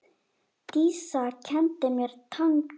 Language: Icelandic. Dísa kenndi mér tangó.